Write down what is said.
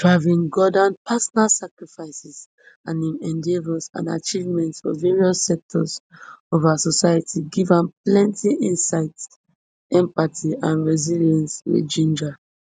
pravin gordhan personal sacrifices and im endeavours and achievements for various sectors of our society give am plenti insights empathy and resilience wey ginger